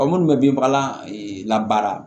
minnu bɛ binfagalan la baara